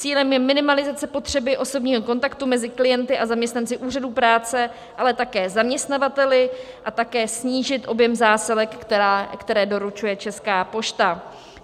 Cílem je minimalizace potřeby osobního kontaktu mezi klienty a zaměstnanci úřadu práce, ale také zaměstnavateli, a také snížit objem zásilek, které doručuje Česká pošta.